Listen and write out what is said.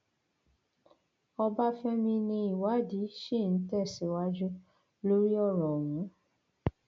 ọbáfẹmi ni ìwádìí ṣì ń tẹsíwájú lórí ọrọ ọhún